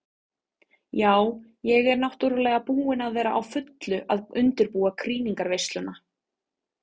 Ja, ég er náttúrulega búin að vera á fullu að undirbúa krýningarveisluna.